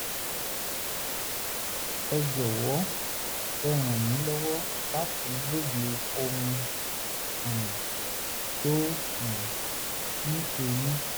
ẹ jọ̀wọ́ ẹ ràn mí lọ́wọ́ láti lóye ohun tó um ń ṣe mí